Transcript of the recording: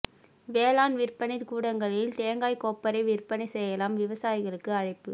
வேளாண் விற்பனை கூடங்களில் தேங்காய் கொப்பரை விற்பனை செய்யலாம் விவசாயிகளுக்கு அழைப்பு